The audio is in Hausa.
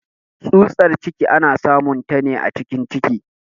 Tsutar ciki ana samun ta ne a cikin ciki.